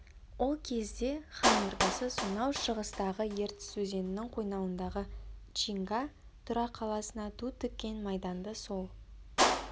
ол кезде хан ордасы сонау шығыстағы ертіс өзенінің қойнауындағы чинга тұра қаласына ту тіккен майданды сол